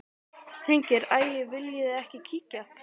Hringing: Æi viljiði ekki kíkja?